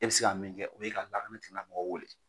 E bɛ se ka min kɛ o ye ka lakana tigilamɔgɔw wele